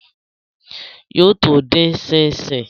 Yóò tó dín ṣíń ṣín